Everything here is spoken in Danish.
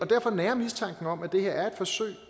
derfor nager mistanken om at det her er et forsøg